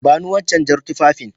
Bani Wancan jar tufafin